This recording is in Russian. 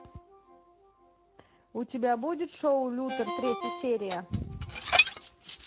у тебя будет шоу лютер третья серия